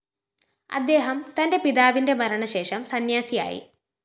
അദ്ദേഹം തന്റെ പിതാവിന്റെ മരണശേഷം സന്ന്യാസിയായി